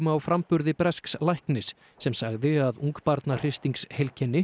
á framburði bresks læknis sem sagði að